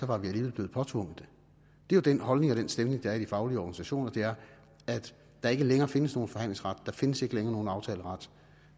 var de alligevel blevet påtvunget det den holdning og stemning der er i de faglige organisationer er at der ikke længere findes nogen forhandlingsret der findes ikke længere nogen aftaleret